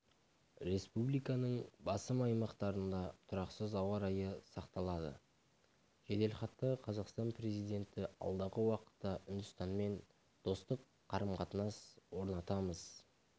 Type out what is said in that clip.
республиканың басым аймақтарында тұрақсыз ауа райы сақталады жеделхатта қазақстан президенті алдағы уақытта үндістанмен достық қарым-қатынас орнатамыз